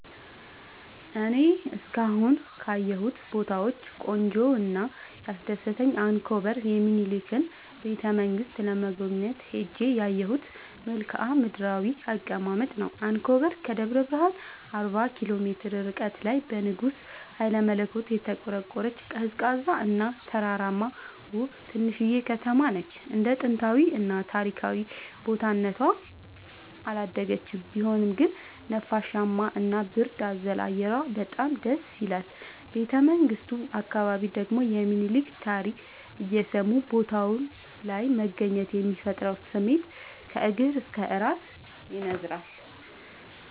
እኔ እስካሁን ካየሁት ቦታወች ቆንጆው እና ያስደሰተኝ አንኮበር የሚኒልክን ቤተ-መንግስት ለመጎብኘት ሄጄ ያየሁት መልከአ ምድራዊ አቀማመጥ ነው። አንኮበር ከደብረ ብረሃን አርባ ኪሎ ሜትር ርቀት ላይ በንጉስ ሀይለመለኮት የተቆረቆረች፤ ቀዝቃዛ እና ተራራማ ውብ ትንሽዬ ከተማነች እንደ ጥንታዊ እና ታሪካዊ ቦታ እነቷ አላደገችም ቢሆንም ግን ነፋሻማ እና ብርድ አዘል አየሯ በጣም ደስይላል። ቤተመንግቱ አካባቢ ደግሞ የሚኒልክን ታሪክ እየሰሙ ቦታው ላይ መገኘት የሚፈጥረው ስሜት ከእግር እስከ እራስ ያስነዝራል።